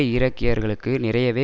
ஈராக்கியர்களுக்கு நிறையவே